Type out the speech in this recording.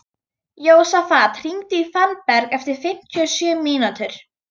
Jósafat, hringdu í Fannberg eftir fimmtíu og sjö mínútur.